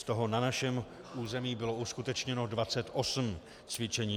Z toho na našem území bylo uskutečněno 28 cvičení.